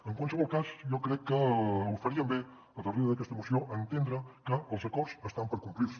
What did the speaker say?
en qualsevol cas jo crec que faríem bé darrere d’aquesta moció d’entendre que els acords estan per complir se